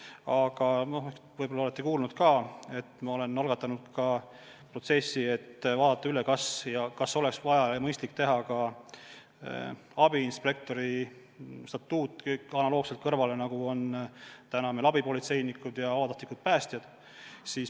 Aga võib-olla olete kuulnud, et me oleme algatanud protsessi, et vaadata üle, kas oleks mõistlik luua ka abiinspektori statuut analoogselt sellega, nagu meil on abipolitseinikud ja vabatahtlikud päästjad.